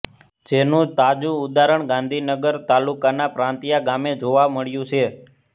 જેનું તાજુ ઉદારણ ગાંધીનગર તાલુકાના પ્રાંતિયા ગામે જોવા મળ્યું છે